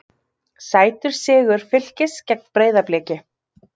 Sætur sigur Fylkis gegn Breiðabliki